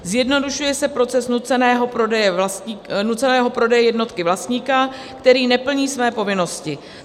Zjednodušuje se proces nuceného prodeje jednotky vlastníka, který neplní své povinnosti.